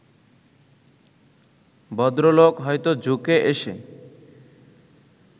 ভদ্রলোক হয়তো ঝুঁকে এসে